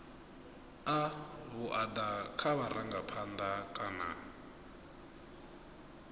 a vhuaḓa kha vharangaphanḓa kana